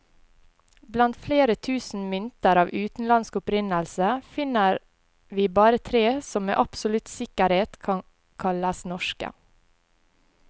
Blant flere tusen mynter av utenlandsk opprinnelse, finner vi bare tre som med absolutt sikkerhet kan kalles norske.